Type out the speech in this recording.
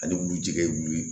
Ale bulu tɛ kɛ bulu ye